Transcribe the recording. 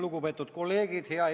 Lugupeetud kolleegid!